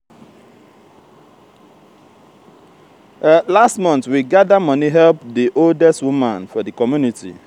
last month we gada moni help di oldest woman for di community.